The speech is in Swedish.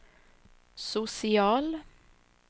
social